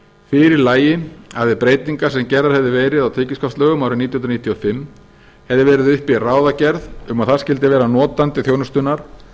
fyrir lægi að við breytingar sem gerðar hefðu verið á tekjuskattslögum árið nítján hundruð níutíu og fimm hefði verið uppi ráðagerð um að það skyldi vera notandi þjónustunnar